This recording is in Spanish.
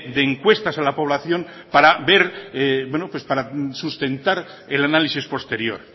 de encuestas a la población para ver y para sustentar el análisis posterior